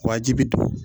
Wajibi don